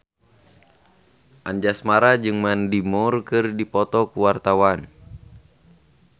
Anjasmara jeung Mandy Moore keur dipoto ku wartawan